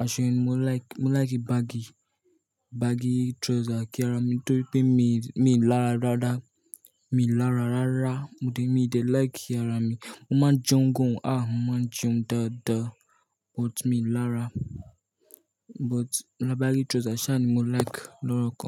Aṣọ yẹn ni mo like, mo like baggi, baggi trouser torí pé mi lára dáadáa. Mi i lára rá rá. Mi dẹ̀ like ara mi mo máa ń jẹun gan-an, mo máa ń jẹun dáadáa but mi i lára. But baggi trouser sas ni mo like lọ́ro kan.